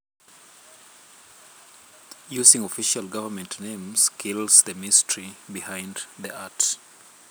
Using official government names kills the mystery behind the art